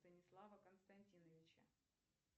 станислава константиновича